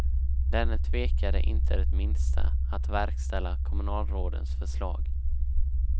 Denne tvekade inte det minsta att verkställa kommunalrådens förslag.